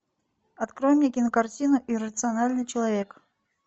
открой мне кинокартину иррациональный человек